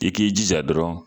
I k'i jija dɔrɔn